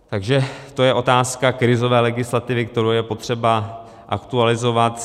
Takže to je otázka krizové legislativy, kterou je potřeba aktualizovat.